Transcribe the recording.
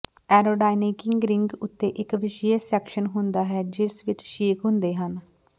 ਐਰੋਡਾਇਨਾਇੰਗਿਕ ring ਉੱਤੇ ਇੱਕ ਵਿਸ਼ੇਸ਼ ਸੈਕਸ਼ਨ ਹੁੰਦਾ ਹੈ ਜਿਸ ਵਿੱਚ ਛੇਕ ਹੁੰਦੇ ਹਨ